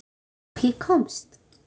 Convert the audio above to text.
Og ég komst.